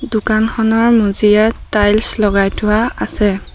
দোকানখনৰ মজিয়াত টাইলছ লগাই থোৱা আছে।